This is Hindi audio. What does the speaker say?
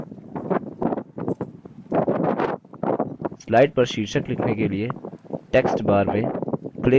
slide पर शीर्षक लिखने के लिए टेक्स्टबार में click to add title पर click करें